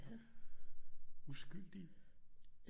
Uskyldige